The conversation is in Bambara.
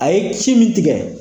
A ye ci min tigɛ